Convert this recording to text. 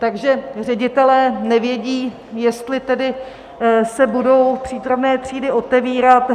Takže ředitelé nevědí, jestli tedy se budou přípravné třídy otevírat.